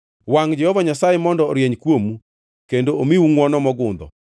Wangʼ Jehova Nyasaye mondo orieny kuomu kendo omiu ngʼwono mogundho;